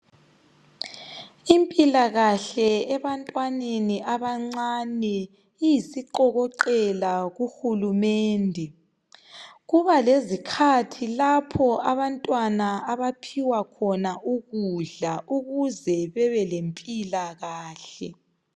Impilakahle ebantwaneni abancane iyisiqokoqela kuhulumende kuba lezikhathi lapho abantwana abaphiwa khona ukudla ukuze bebe lempilakahle.